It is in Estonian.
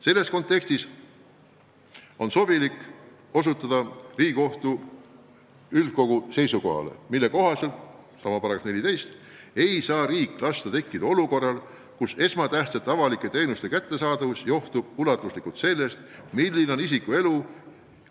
Selles kontekstis on sobilik osutada Riigikohtu üldkogu seisukohale, mille kohaselt – aluseks ikka sama § 14 – ei saa riik lasta tekkida olukorral, kus esmatähtsate avalike teenuste kättesaadavus johtub suurel määral sellest, milline on